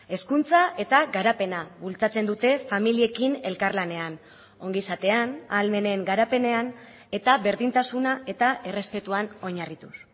hezkuntza eta garapena bultzatzen dute familiekin elkarlanean ongizatean ahalmenen garapenean eta berdintasuna eta errespetuan oinarrituz